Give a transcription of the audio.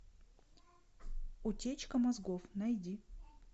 утечка мозгов найди